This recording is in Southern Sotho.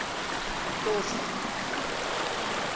kofi